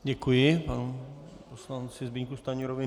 Děkuji panu poslanci Zbyňku Stanjurovi.